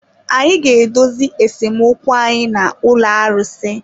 Anyị ga-edozi esemokwu anyị na ụlọ arụsị.